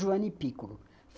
Joane Pículo.